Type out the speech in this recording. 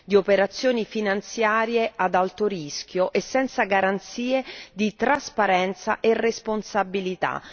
di operazioni finanziarie ad alto rischio e senza garanzie di trasparenza e responsabilità.